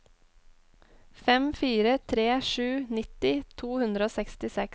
fem fire tre sju nitti to hundre og sekstiseks